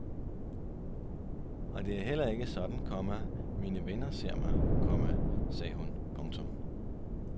Og det er heller ikke sådan, komma mine venner ser mig, komma sagde hun. punktum